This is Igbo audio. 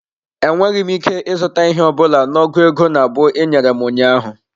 Enweghị m ike ịzụta ihe ọ bụla na ọgụ ego nabụ ị nyere m ụnyaahụ.